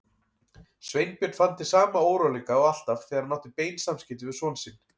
Sveinbjörn fann til sama óróleika og alltaf þegar hann átti bein samskipti við son sinn.